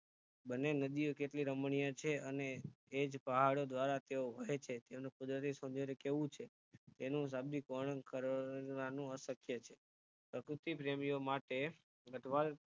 બંને નદીઓ કેટલી રમણીય છે અને એજ પહાડો દ્વારા તેઓ વહે છે તેનું કુદરતી સોંદર્ય કેવું છે તેનું શાબ્દિકરણ કરવાનું પણ અશક્ય છે પ્રકૃતિ પ્રેમીઓ માટે ગઢવાલ